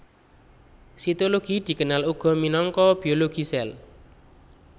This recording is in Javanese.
Sitologi dikenal uga minangka biologi sèl